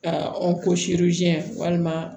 Ka walima